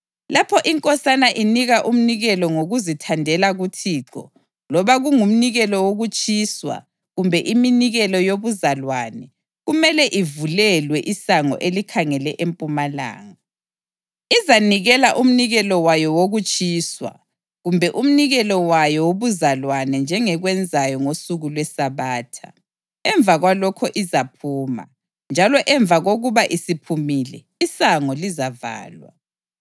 Lapho inkosana inika umnikelo ngokuzithandela kuThixo loba kungumnikelo wokutshiswa kumbe iminikelo yobuzalwane, kumele ivulelwe isango elikhangele empumalanga. Izanikela umnikelo wayo wokutshiswa kumbe umnikelo wayo wobuzalwane njengekwenzayo ngosuku lweSabatha. Emva kwalokho izaphuma, njalo emva kokuba isiphumile, isango lizavalwa.